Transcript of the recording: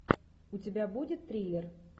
у тебя будет триллер